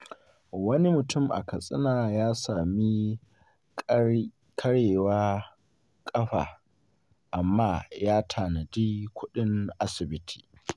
Wani mutum a Katsina ya sami karyewar kafa, amma ya tanadi kudin asibiti.